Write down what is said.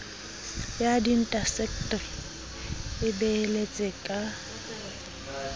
ya diindaseteri e beheletse ka